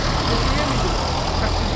Maşın deyilmi bu?